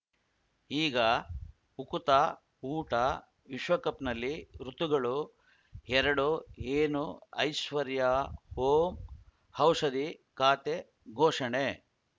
ಈಗ ಉಕುತ ಊಟ ವಿಶ್ವಕಪ್‌ನಲ್ಲಿ ಋತುಗಳು ಎರಡು ಏನು ಐಶ್ವರ್ಯಾ ಓಂ ಔಷಧಿ ಖಾತೆ ಘೋಷಣೆ